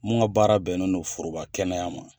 Mun ka baara bɛn no foroba kɛnɛya ma